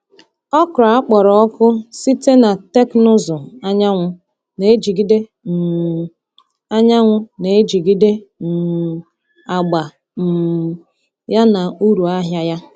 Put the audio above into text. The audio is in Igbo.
Okra akpọrọ ọkụ site na teknụzụ anyanwụ na-ejigide um anyanwụ na-ejigide um agba um ya na uru ahịa ya.